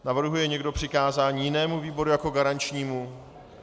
Navrhuje někdo přikázání jinému výboru jako garančnímu?